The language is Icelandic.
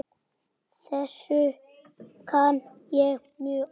Þessu kann ég mjög illa.